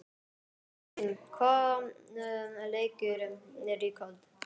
Friðsteinn, hvaða leikir eru í kvöld?